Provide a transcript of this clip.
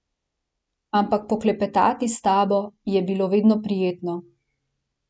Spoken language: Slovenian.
Ampak poklepetati s tabo, je bilo vedno prijetno...